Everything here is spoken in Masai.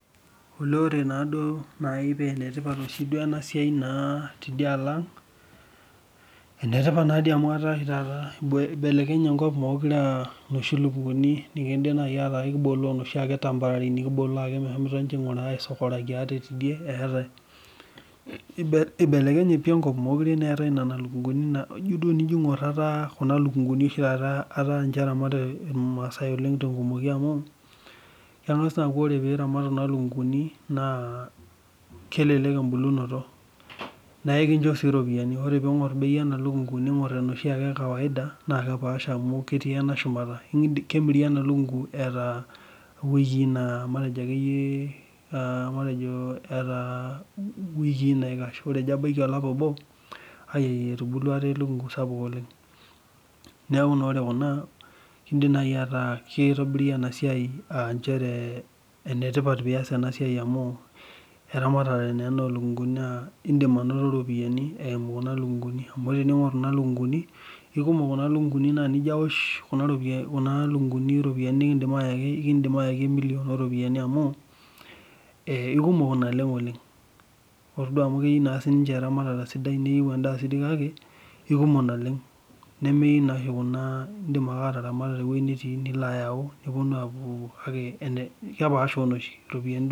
Ore duo paa enetipat ena siai tidialo ang amu eibelekenye enkop mekure aa noshi lukunguni nikibole ake temporary meshomo aisokoraki ate etae eibelekenye pii enkop mekure etae Nena lukunguni eibelekenye enkop mekure etaa Kuna lukunguni etae amu oree maasai tenkumoki amu keng'as akuu ore pee eramat Kuna lukunguni naa kelelek ebulunoto naa ekinjoo sii ropiani ore pee eng'or bei ena lukungu ning'or eneshi ee kawaida naa kepaasha amu ketii ena shumata kemiri ena lukungu etaa wiki[naikash ore ejo abaiki olapa obo etubulua etaa elukungu sapuk oleng neeku enetipat tenias ena siai amu eramatare naa ena oo lukunguni naa edim anoto eropiani eyimu Kuna lukunguni amu tening'or Kuna lukunguni ekumok Kuna lukunguni naa tenijo awosh ropiani nikidim ayaki naa ekidim ayaki emillion amu kumok naleng oleng ore duo amu keyieu eramatata sidai neyieu endaa kake aikumok naleng nemeyieu noshi Kuna edim ake ayau tewueji netii nepuonu kepashaa onoshi